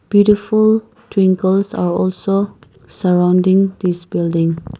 beautiful twinkles are also surrounding this building.